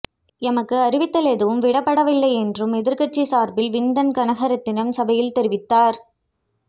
எமக்கு அறிவித்தல் எதுவும் விடப்படவில்லை என்றும் எதிர்கட்சி சார்பில் விந்தன் கனகரத்தினம் சபையில் தெரிவித்தார்